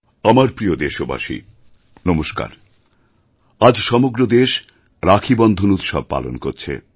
আমার প্রিয় দেশবাসী নমস্কার আজ সমগ্র দেশ রাখীবন্ধন উৎসব পালন করছে